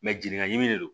jiginin de don